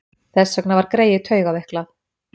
Þess vegna var greyið taugaveiklað.